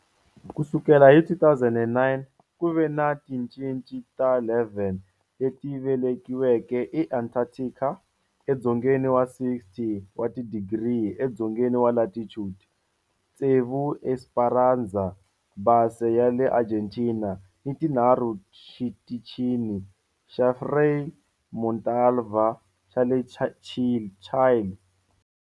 Ku sukela hi 2009, ku ve ni tincece ta 11 leti velekiweke eAntarctica, edzongeni wa 60 wa tidigri edzongeni wa latitude, tsevu eEsperanza Base ya le Argentina ni tinharhu Xitichini xa Frei Montalva xa le Chile.